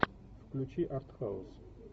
включи артхаус